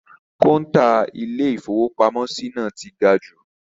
Kọ́ńtà Ilé-ìfowópamọ́sí náà ti ga jù.